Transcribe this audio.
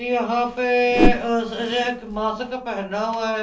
यहाँ पे ए ए स एक मास्क पहना हुआ है ।